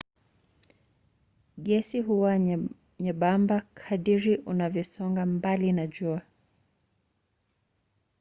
gesi huwa nyembamba kadiri unavyosonga mbali na jua